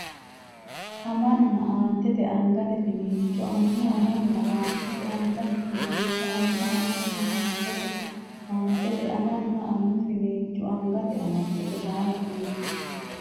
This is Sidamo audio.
amanna Aantete angate finiincho annu amanna Aantete angate finiincho annu amanna Aantete Aantete amanna annu finiincho angate amadde Gojaamo qiidi !